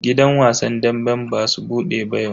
Gidan wasan damben basu bude ba yau.